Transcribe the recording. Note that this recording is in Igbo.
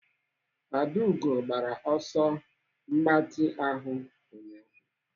Adaugo gbara ọsọ mgbatị ahụ ụnyaahụ.